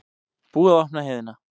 Búið að opna heiðina